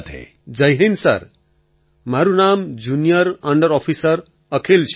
અખિલ Jai Hind sir મારું નામ junior under officer Akhil છે